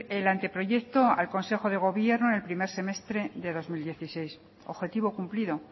el anteproyecto al consejo de gobierno en el primer semestre de dos mil dieciséis objetivo cumplido